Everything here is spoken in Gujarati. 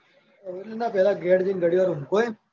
ના પેલાં ઘેર જઈને ઘડીવાર ઊંઘોય.